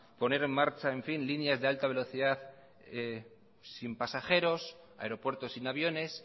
poner en marcha líneas de alta velocidad sin pasajeros aeropuertos sin aviones